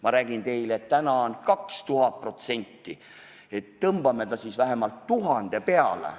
Ma räägin teile, et täna on 2000% – tõmbame selle siis vähemalt 1000 peale.